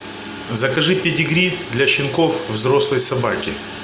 закажи педигри для щенков взрослой собаки